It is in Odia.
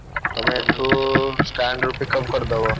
ତମେ ଏଠୁ stand ରୁ pickup କରିଦବ।